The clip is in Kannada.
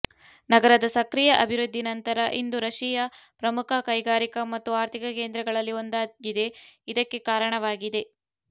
ನಗರದ ಸಕ್ರಿಯ ಅಭಿವೃದ್ಧಿ ನಂತರ ಇಂದು ರಶಿಯಾ ಪ್ರಮುಖ ಕೈಗಾರಿಕಾ ಮತ್ತು ಆರ್ಥಿಕ ಕೇಂದ್ರಗಳಲ್ಲಿ ಒಂದಾಗಿದೆ ಇದಕ್ಕೆ ಕಾರಣವಾಗಿದೆ